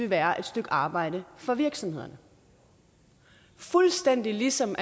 være et stykke arbejde for virksomhederne fuldstændig ligesom